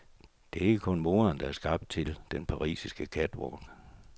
Det er ikke kun moderen, der er skabt til den parisiske catwalk.